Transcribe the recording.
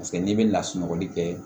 Paseke n'i bɛ lasunɔgɔli kɛ